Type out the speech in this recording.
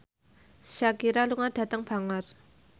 Shakira lunga dhateng Bangor